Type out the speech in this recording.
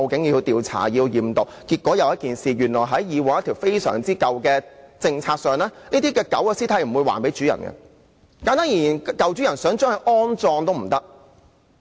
結果出現一個問題：原來根據一項非常古老的政策，這些狗的屍體不會歸還飼主；簡單而言，飼主想將狗隻安葬也不可。